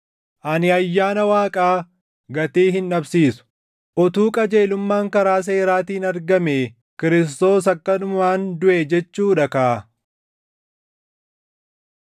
Ani ayyaana Waaqaa gatii hin dhabsiisu; utuu qajeelummaan karaa seeraatiin argamee Kiristoos akkanumaan duʼe jechuu dha kaa!”